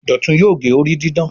Dọtun yóò gé orí didán